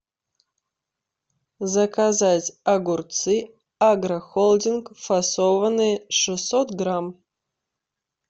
заказать огурцы агрохолдинг фасованные шестьсот грамм